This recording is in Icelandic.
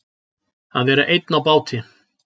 Að vera einn á báti